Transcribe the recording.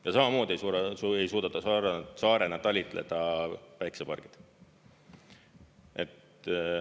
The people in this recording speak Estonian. Ja samamoodi ei suuda saarena talitleda päiksepargid.